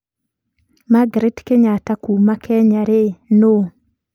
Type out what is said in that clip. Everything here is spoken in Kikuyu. Margaret Kenyattakuuma Kenya-rĩ nũ?